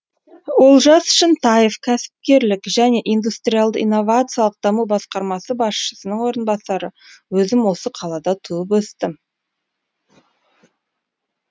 олжас шынтаев кәсіпкерлік және индустриалды инновациялық даму басқармасы басшысының орынбасары өзім осы қалада туып өстім